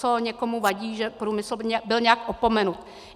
Co někomu vadí, že průmysl byl nějak opomenut.